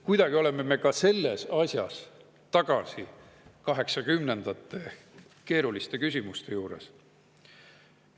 Kuidagi oleme me ka selles asjas tagasi 1980‑ndate keeruliste küsimuste juures.